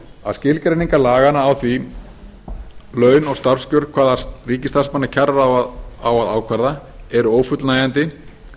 að skilgreiningar laganna á því hvaða laun og starfskjör ríkisstarfsmanna kjararáð á að ákvarða eru ófullnægjandi